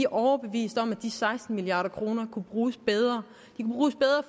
overbevist om at de seksten milliard kroner kunne bruges bedre